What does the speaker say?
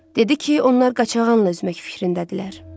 Dedi ki, onlar qaçağanla üzmək fikrindədirlər.